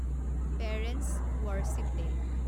parents' worship day